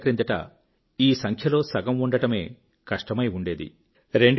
కొన్నేళ్ళ క్రిందట ఈ సంఖ్యలో సగం ఉండడమే కష్టమై ఉండేది